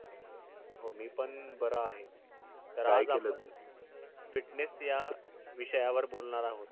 हो मी पण बरा आहे तर आपण काय केलं तू fitness या विषयावर आज बोलणार आहोत.